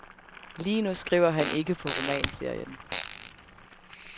Lige nu skriver han ikke på romanserien.